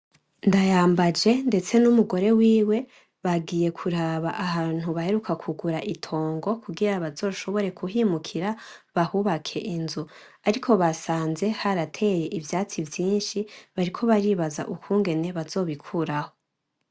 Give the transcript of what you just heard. Ndayambaje ndetse n’umugore wiwe bagiye kuraba ahantu b’aheruka kugura itongo kugira bazoshobore k’uhimukira bahubake inzu. Ariko basanze harateye ivyatsi vyinshi bariko baribaza ukungene bazobikuraho.